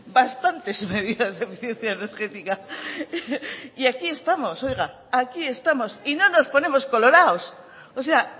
bastantes medidas de eficiencia energética y aquí estamos oiga aquí estamos y no nos ponemos colorados o sea